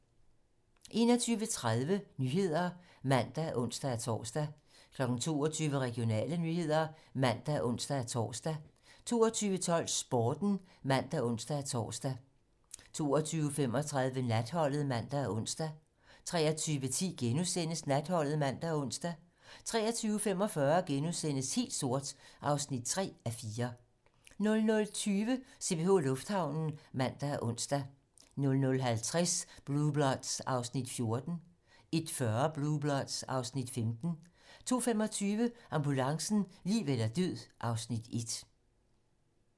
21:30: 21:30 Nyhederne (man og ons-tor) 22:00: Regionale nyheder (man og ons-tor) 22:12: Sporten (man og ons-tor) 22:35: Natholdet (man og ons) 23:10: Natholdet *(man og ons) 23:45: Helt sort (3:4)* 00:20: CPH Lufthavnen (man og ons) 00:50: Blue Bloods (Afs. 14) 01:40: Blue Bloods (Afs. 15) 02:25: Ambulancen - liv eller død (Afs. 1)